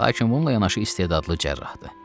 Lakin bununla yanaşı istedadlı cərrahdır.